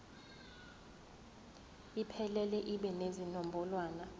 iphelele ibe nezinombolwana